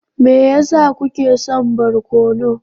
Me yasa kuke son barkono?